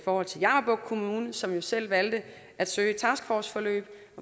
forhold til jammerbugt kommune som jo selv valgte at søge et taskforceforløb